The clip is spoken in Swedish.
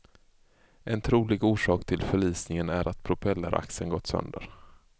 En trolig orsak till förlisningen är att propelleraxeln gått sönder.